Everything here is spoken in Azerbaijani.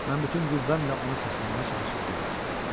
Mən bütün qüvvəmlə onu saxlamağa çalışıb dedim: